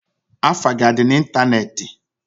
Afa gi adi na Ịntanetị?